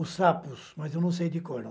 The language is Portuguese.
Os Sapos, mas eu não sei de cor não.